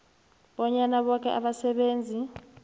bonyana boke abasebenzi